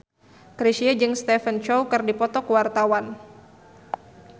Chrisye jeung Stephen Chow keur dipoto ku wartawan